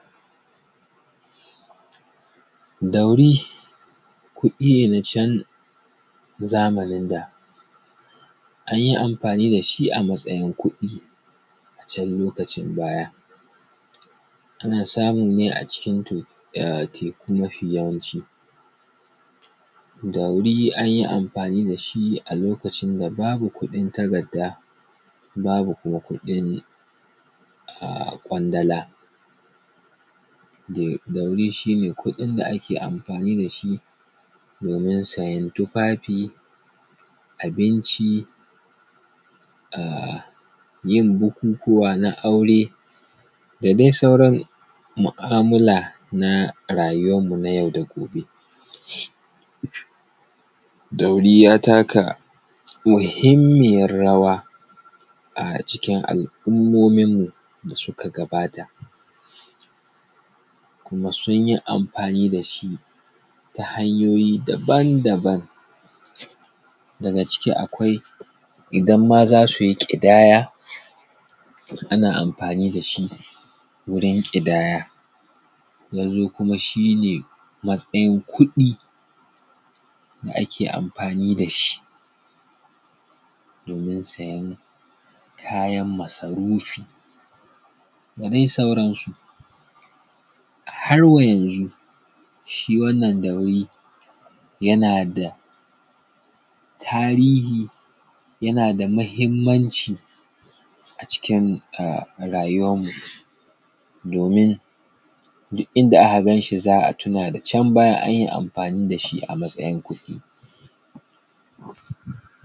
Daure kuɗi ne na can zamanin da an yi amfani da shi a matsayin kuɗi ,a can lokacin baya. Ana samu ne a cikin teku mafiyawaci. Dauri an yi amfani da shi a lokacin da babu kuɗin takarda, babu kuwa kuɗin a ƙwandala, daur shi ne kuɗin da ake amfani da shi domin sayan tufafi, abinci, yin bukukuwa na aure da dai sauran mu'amala na rayuwan mu na yau da gobe. Dauri ya taka muhimmiyar rawa a cikin al’ummomin mu da suka gabata. kuma sun yi amfani da shi ta hanyoyi daban daban daga ciki akwai idan ma za su yi ƙidaya ana amfani da shi wurin ƙidaya. Ya zo kuma shi ne matsayin kuɗi da ake amfani da shi domin siyan kayan masarufi da dai sauransu. Har wa yanzu shi wannan dauri yana da tarihi, yana da muhimmanci a cikin rayuwan mu domin duk inda aka gan shi za a tuna da can baya anyi amfani da shi a matsayin kuɗi.